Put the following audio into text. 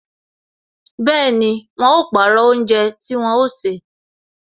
Bẹẹni, wọn ó pàrọ̀ oúnjẹ tí wọn ó ṣe